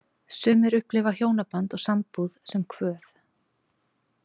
Sumir upplifa hjónaband og sambúð sem kvöð.